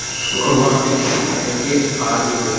वह अभी किसी बैंक के आगे पे --